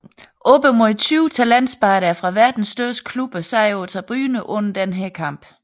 Op imod 20 talentspejdere fra verdens største klubber sad på tribunen under denne kamp